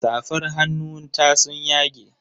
Safar hannun ta sun yage.